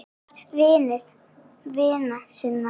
Hann var vinur vina sinna.